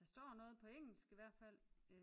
Står noget på engelsk i hvert fald